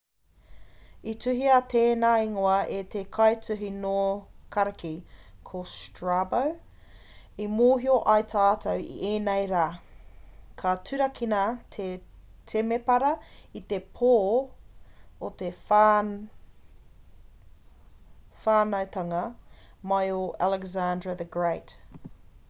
i tuhia tēnā ingoa e te kaituhi nō kariki a strabo i mōhio ai tātou i ēnei rā i turakina te temepara i te pō o te whānautanga mai o alexandra the great